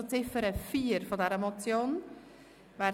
Wir gehen zur Abstimmung zu Ziffer 4 dieser Motion über.